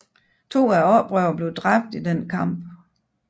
To af oprørerne blev dræbt i denne kamp